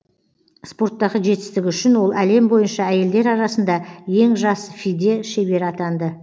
спорттағы жетістігі үшін ол әлем бойынша әйелдер арасында ең жас фиде шебері атанды